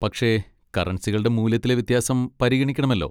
പക്ഷെ കറൻസികളുടെ മൂല്യത്തിലെ വ്യത്യാസം പരിഗണിക്കണമല്ലോ.